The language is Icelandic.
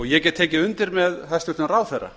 ég get tekið undir með hæstvirtum ráðherra